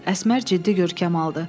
Əsmər ciddi görkəm aldı.